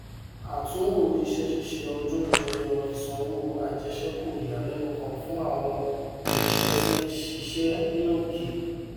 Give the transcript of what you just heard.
àtunwò iṣẹ ṣíṣe ọdún jẹyọ ìsanwó àjẹsékù ìyàlẹnu kan fún àwọn oṣiṣẹ tí ń ṣiṣẹ ní òkè